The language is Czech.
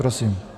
Prosím.